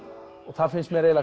það finnst mér